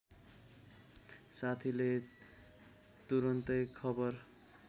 साथीले तुरून्तै खबर